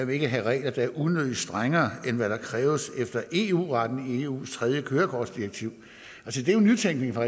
vil have regler der er unødigt strengere end hvad der kræves efter eu retten i eus tredje kørekortsdirektiv det er jo nytænkning fra